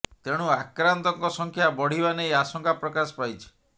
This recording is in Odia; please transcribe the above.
ତେଣୁ ଆକ୍ରାନ୍ତଙ୍କ ସଂଖ୍ୟା ବଢ଼ିବା ନେଇ ଆଶଙ୍କା ପ୍ରକାଶ ପାଇଛି